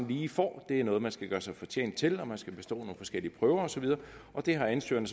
lige får det er noget man skal gøre sig fortjent til man skal bestå nogle forskellige prøver og så videre det har ansøgerne